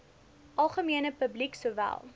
algemene publiek sowel